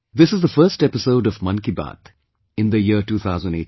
This is the first episode of 'Mann Ki Baat' in the year 2018